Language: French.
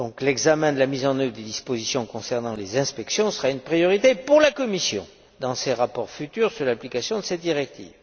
L'examen de la mise en œuvre des dispositions concernant les inspections sera donc une priorité pour la Commission dans ses rapports futurs sur l'application de cette directive.